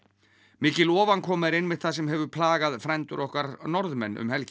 mikil ofankoma er einmitt það sem hefur plagað frændur okkar Norðmenn um helgina